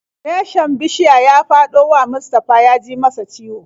Reshen bishiya ya faɗo wa Mustafa ya ji masa ciwo.